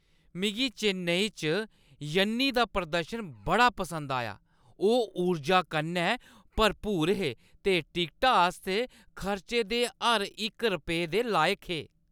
मिगी चेन्नई च यन्नी दा प्रदर्शन बड़ा पसंद आया। ओह् ऊर्जा कन्नै भरपूर हे ते टिकटा आस्तै खर्चे दे हर इक रपेऽ दे लायक हे।